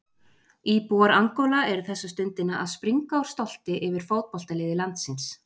Íbúar Angóla eru þessa stundina að springa úr stolti yfir fótboltaliði landsins.